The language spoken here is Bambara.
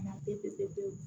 P